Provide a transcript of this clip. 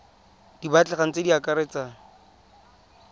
di batlegang tse di akaretsang